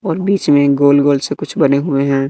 और बीच में गोल गोल से कुछ बने हुए हैं।